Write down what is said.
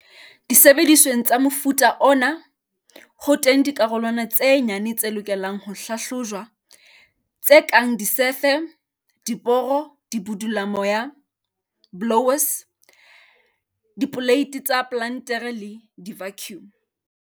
Disebedisweng tsa mofuta ona, ho teng dikarolwana tse nyane tse lokelang ho hlahlojwa, tse kang disefe, diboro, dibudulamoya, blowers, dipoleiti tsa plantere le di-vacuum.